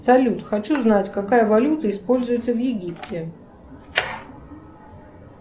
салют хочу знать какая валюта используется в египте